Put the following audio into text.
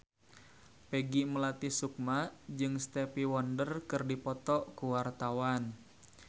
Peggy Melati Sukma jeung Stevie Wonder keur dipoto ku wartawan